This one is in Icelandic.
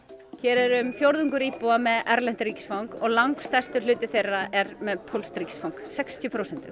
hér er um fjórðungur íbúa með erlent ríkisfang og langstærstur hluti þeirra er með pólskt ríkisfang sextíu prósent